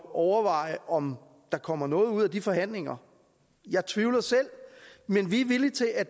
overveje om der kommer noget ud af de forhandlinger jeg tvivler selv men vi er villige til at